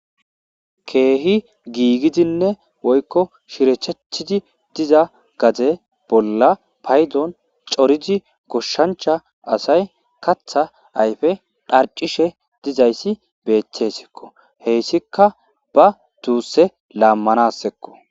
Keehi giigidinne woykko shirethethidi diza gaze bolla paydon corizi koshshancha asay katha ayfe dharcishe dizayssi beethessekko heyssika ba duusse laammanassekko.